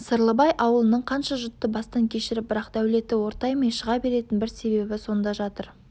сырлыбай ауылының қанша жұтты бастан кешіріп бірақ дәулеті ортаймай шыға беретін бір себебі сонда жатыр